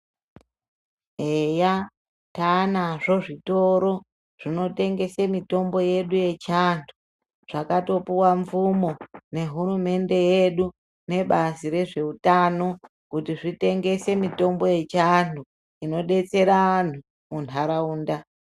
Eya taanazvo zvitoro zvinotengese mitombo yedu yechiantu zvakatopuwa mvumo nehurumende yedu nebazi rezveutano kuti zvitengese mitombo yechianhu inodetsera anhu muntaraunda.